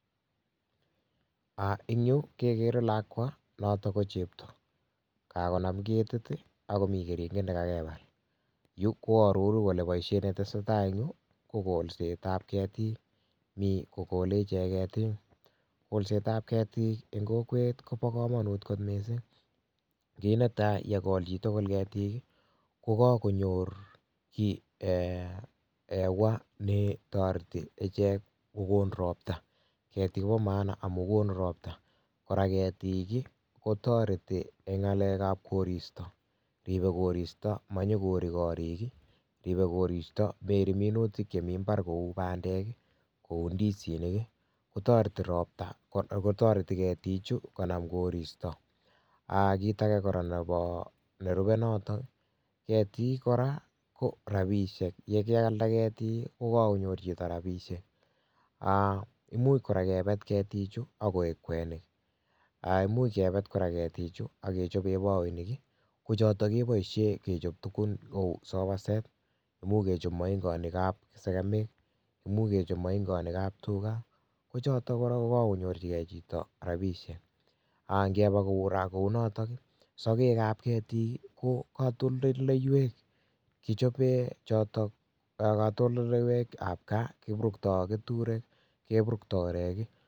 Eng yu kekere lakwa noto ko chepto kakonam ketit akomii keringet ne kakebal yu koaroru kole boishet netesei tai eng yu kokolset ab ketik mi kokolei ichek ketik, kolset ab ketik eng kokwet Kobo komonut kot mising kit netai yekol chitugul ketiik kokakonyor hewa netoreti ichek kokon ropta ketik kopo maana amun konu ropta kora ketik kotoreti eng ngalek ab koristo ribei koristo manyikoiri koriik, ribei koristo mairii minutik chemii mbar kou bandek kou ndisinik kotoreti ketichu konam koristo kit age nerubei noto ketik kora ko rapishek yekeialde ketiik ko kakonyor chito ropishek imuch kora kepet ketichu akoek kwenik imuch kebet kora ketichu akechopee bakoinik ko choto keboishee kechop tukun cheu sofa set muuch kechop moingonik ab segemil much kechop moingonik ab tuga kocho kora ko kakonyorchigei chito rapishek ngeba kora kou noto sokek ab ketik ko katoldoleiwek ab kaa kiburuktoi ketrek, akeburuktoi orek